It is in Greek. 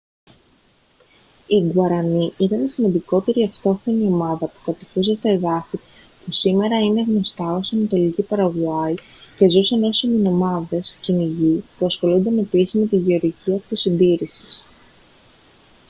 οι γκουαρανί ήταν η σημαντικότερη αυτόχθονη ομάδα που κατοικούσε στα εδάφη που σήμερα είναι γνωστά ως ανατολική παραγουάη και ζούσαν ως ημινομάδες κυνηγοί που ασχολούνταν επίσης με τη γεωργία αυτοσυντήρησης